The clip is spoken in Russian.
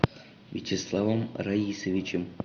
вячеславом раисовичем